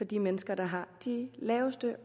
de mennesker der har de laveste